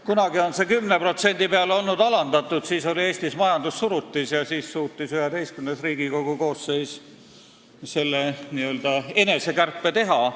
Kunagi on see olnud alandatud 10% peale – siis oli Eestis majandussurutis ja XI Riigikogu koosseis suutis selle n-ö enesekärpe teha.